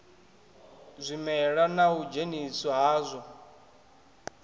zwimela na u dzheniswa hadzwo